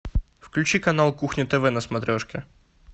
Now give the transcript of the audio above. включи канал кухня тв на смотрешке